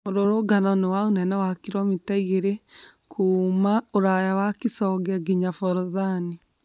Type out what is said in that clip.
Mũrũrũngano nĩ wa ũnene wa kiromita igĩri kumagia ũraya wa Kisonge nginya Forodhani.